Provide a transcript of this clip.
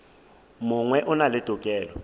mongwe o na le tokelo